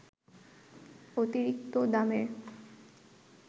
অতিরিক্ত দামের